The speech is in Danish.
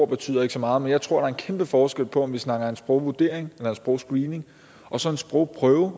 betyder så meget men jeg tror der er en kæmpe forskel på om vi snakker om en sprogvurdering eller en sprogscreening og så en sprogprøve